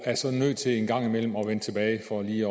er så nødt til en gang imellem at vende tilbage for lige